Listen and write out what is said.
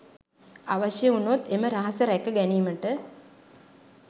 අවශ්‍ය වුණොත් එම රහස රැක ගැනීමට